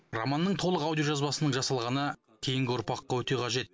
романның толық аудиожазбасының жасалғаны кейінгі ұрпаққа өте қажет